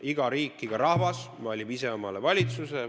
Iga riik, iga rahvas valib ise omale valitsuse.